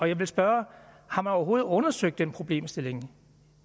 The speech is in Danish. jeg vil spørge har man overhovedet undersøgt den problemstilling